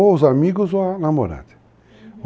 Ou os amigos ou a namorada. Uhum.